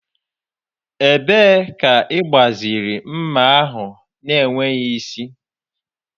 Ebee ka ị gbaziri Ḿmà ahụ na-enweghị isi?